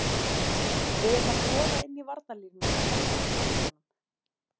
Við erum að skoða inn í varnarlínuna og kannski út í vængjunum.